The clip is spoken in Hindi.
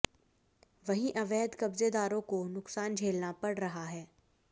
वहीं अवैध कब्जेदारों को नुकसान झेलना पड़ रहा है